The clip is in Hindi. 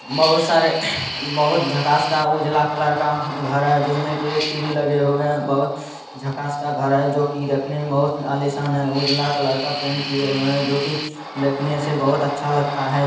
बहुत सारे बहुत झक्कास का उजला कलर का घर है जिसमें की एक टी.वी. लगे हुए हैं| बहुत झक्कास का घर है जो की देखने में बहुत आलीशान है| उजला कलर का पेंट किये हुए हैं जोकि देखने से बहुत अच्छा लगता है।